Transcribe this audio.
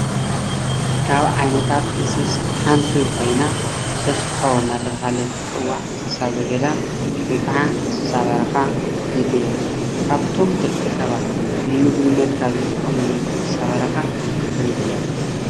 ካብ ዓየነታት እንስሳ ሓንቲ ኮይና ሰሶሖ እናተባሃለት እትፅዋዕ እንስሳ ዘገዳም ወይ ከዓ እንስሳ በረካ ሓንቲ እያ፡፡ ካብቶም ደቂ ሰባት ንምግብነት ዝጥቀሙለን እንስሳ በረካ ሓንቲ እያ፡፡